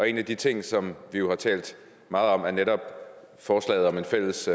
en af de ting som vi jo har talt meget om er netop forslaget om en fælles